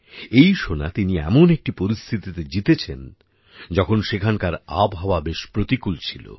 এই সোনা তিনি এমন একটি পরিস্থিতিতে জিতেছেন যখন সেখানকার আবহাওয়া বেশ প্রতিকূল ছিল